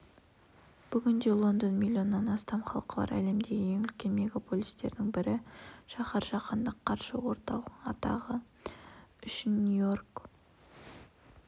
бүгінде лондон миллионнан астам халқы бар әлемдегі ең үлкен мегополистердің бірі шаһар жаһандық қаржы орталығы атағы